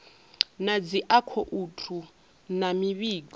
na dzi akhouthu na mivhigo